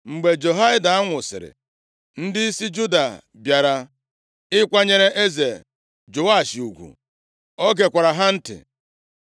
Mgbe Jehoiada nwụsịrị, ndịisi Juda bịara ịkwanyere eze Joash ugwu. O gekwara ha ntị.